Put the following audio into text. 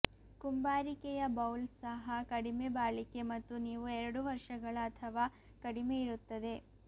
ಕುಂಬಾರಿಕೆಯ bowl ಸಹ ಕಡಿಮೆ ಬಾಳಿಕೆ ಮತ್ತು ನೀವು ಎರಡು ವರ್ಷಗಳ ಅಥವಾ ಕಡಿಮೆ ಇರುತ್ತದೆ